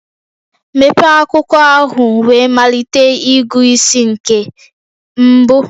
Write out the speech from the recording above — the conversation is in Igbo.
Mepee akwụkwọ ahụ wee malite ịgụ isi nke mbụ.